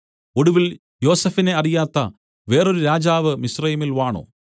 ഒടുവിൽ യോസഫിനെ അറിയാത്ത വേറൊരു രാജാവ് മിസ്രയീമിൽ വാണു